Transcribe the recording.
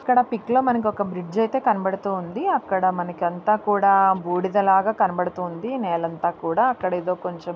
ఇక్కడ పిక్ లో మనకు ఒక బ్రిడ్జ్ అయితే కనబడుతోంది అక్కడ మనకి అంత కూడా బూడిదలాగా కనబడుతుంది నేలంతా కూడా అక్కడేదో కొంచెం --